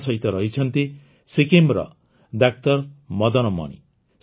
ଆମ ସହିତ ରହିଛନ୍ତି ସିକ୍କିମର ଡାକ୍ତର ମଦନମଣି